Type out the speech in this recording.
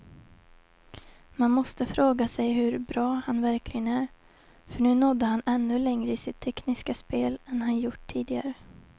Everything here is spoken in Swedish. Man måste fråga sig hur bra han verkligen är, för nu nådde han ännu längre i sitt tekniska spel än han gjort tidigare.